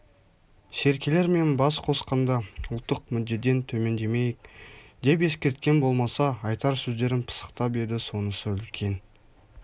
серкелермен бас қосқанда ұлттық мүддеден төмендемейік деп ескерткен болмаса айтар сөздерін пысықтап еді сонысы үлкен